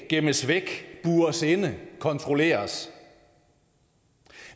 gemmes væk bures inde kontrolleres